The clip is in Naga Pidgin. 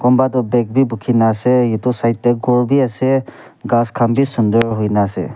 kunba toh bag bi bukhina ase itu side tey ghor bi ase ghas khan bi sundur huina ase.